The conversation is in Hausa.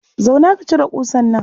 Zauna ka cire ƙusar nan.